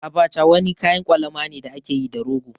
Abacha wani kayan kwalama ne da ake yi da rogo.